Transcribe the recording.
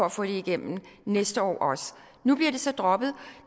at få det igennem næste år nu bliver det så droppet og